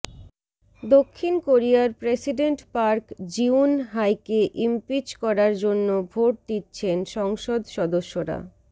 দক্ষিণ কোরিয়ার president Park Geun হাইকে ইমপিচ করার জন্য ভোট দিচ্ছেন সংসদ সদস্যরা